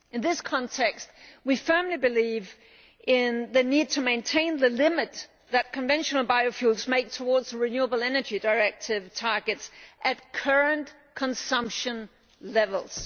In this context, we firmly believe in the need to maintain the limit that conventional biofuels make towards the Renewable Energy Directive targets at current consumption levels.